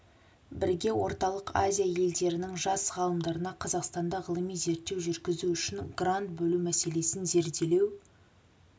бірге орталық азия елдерінің жас ғалымдарына қазақстанда ғылыми зерттеу жүргізу үшін грант бөлу мәселесін зерделеу